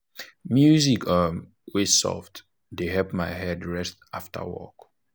music um wey soft dey help my head rest after work.